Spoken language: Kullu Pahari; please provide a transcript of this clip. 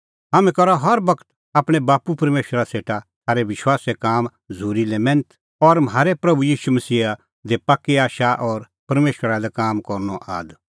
हाम्हैं करा हर बगत आपणैं बाप्पू परमेशरा सेटा थारै विश्वासे काम झ़ूरी लै मैन्थ और म्हारै प्रभू ईशू मसीहा दी पाक्की आशा और परमेशरा लै काम करनअ आद